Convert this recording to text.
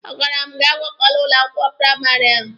A gwara m gị agakwala ụlọ akwụkwọ praịmarị ahụ!